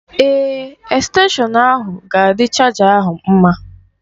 Èè, estenshọn ahụ ga-adị chaja ahụ mma.